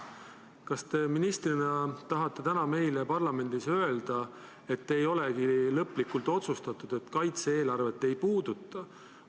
Kas te ministrina tahate täna meile parlamendis öelda, et ei olegi lõplikult otsustatud, et kaitse-eelarvet ei puudutata?